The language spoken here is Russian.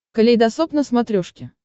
калейдосоп на смотрешке